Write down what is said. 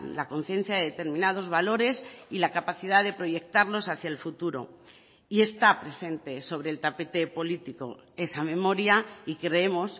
la conciencia de determinados valores y la capacidad de proyectarlos hacia el futuro y está presente sobre el tapete político esa memoria y creemos